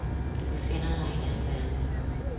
Du befinder dig i en anden verden.